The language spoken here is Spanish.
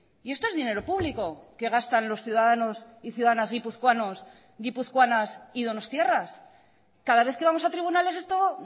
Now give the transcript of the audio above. y esto es dinero público que gastan los ciudadanos y ciudadanas guipuzcoanos guipuzcoanas y donostiarras cada vez que vamos a tribunales esto